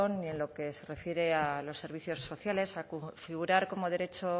y en lo que se refiere a los servicios sociales a configurar como derecho